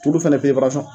Tulu fana